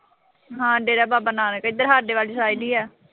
ਹਾਂ ਡੇਰਾ ਬਾਬਾ ਨਾਨਕ। ਇਧਰ ਸਾਡੇ ਵਾਲੀ side ਈ ਆ।